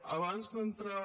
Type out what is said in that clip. abans d’entrar